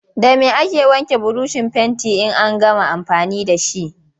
Da me ake wanke burushin fentin in an gama amfani da shi?